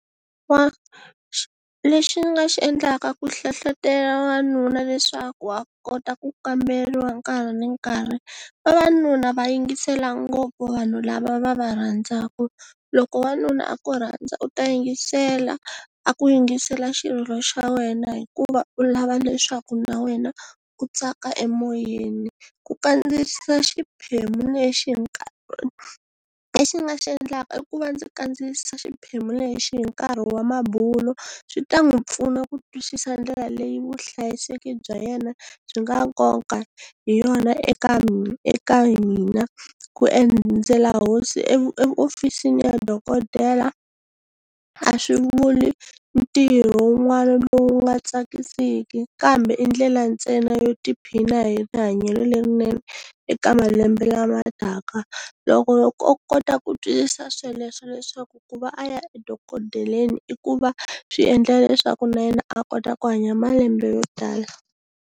lexi ni nga xi endlaka ku hlohlotela wanuna leswaku a kota ku kamberiwa nkarhi ni nkarhi vavanuna va yingisela ngopfu vanhu lava va va rhandzaka, loko wanuna a ku rhandza u ta yingisela a ku yingisela xirilo xa wena hikuva u lava leswaku na wena u tsaka emoyeni ku kandziyisa xiphemu lexi lexi ni nga xi endlaka i ku va ndzi kandziyisa xiphemu lexi hi nkarhi wa mabulo swi ta n'wi pfuna ku twisisa ndlela leyi vuhlayiseki bya yena byi nga nkoka hi yona eka eka hina, ku endzela hosi eofisini ya dokodela a swi vuli ntirho wun'wana lowu nga tsakisiki kambe i ndlela ntsena yo tiphina hi rihanyo lerinene eka malembe lama taka. Loko o kota ku twisisa sweleswo leswaku ku va a ya edokodeleni i ku va swi endla leswaku na yena a kota ku hanya malembe yo tala.